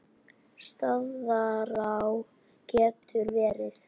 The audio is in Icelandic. Staðará getur verið